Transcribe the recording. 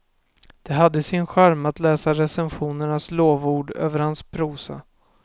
Det hade sin charm att läsa recensionernas lovord över hans prosa.